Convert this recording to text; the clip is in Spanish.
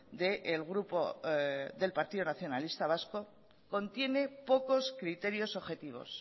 de el grupo del partido nacionalista vasco contiene pocos criterios objetivos